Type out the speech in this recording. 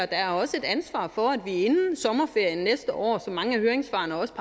der er også et ansvar for at vi inden sommerferien næste år som mange af høringssvarene også